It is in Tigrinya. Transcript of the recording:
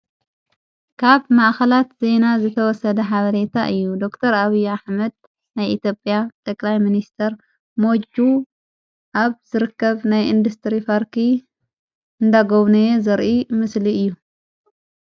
ካብ ማእኸላት ዜና ዝተወሰደ ሓበሬታ እዩ ዶቅተር ኣብያ ኅመድ ናይ ኢቲጵያ ተላይ ምንስተር ሞዩ ኣብ ዝርከብ ናይ ኢንዱስጥሪ ፋርኪ እንደጐውነየ ዝርኢ ምስሊ እዩ።